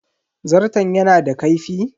Zarton yana da kaifi?